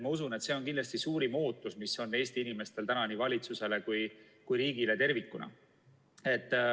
Ma usun, et see on kindlasti suurim ootus, mis on Eesti inimestel nii valitsusele kui ka riigile tervikuna.